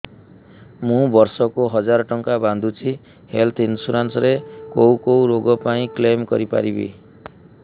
ମୁଁ ବର୍ଷ କୁ ହଜାର ଟଙ୍କା ବାନ୍ଧୁଛି ହେଲ୍ଥ ଇନ୍ସୁରାନ୍ସ ରେ କୋଉ କୋଉ ରୋଗ ପାଇଁ କ୍ଳେମ କରିପାରିବି